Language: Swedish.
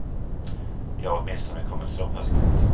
Jag har åtminstone kommit såpass långt.